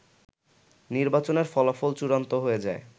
নির্বাচনের ফলাফল চূড়ান্ত হয়ে যায়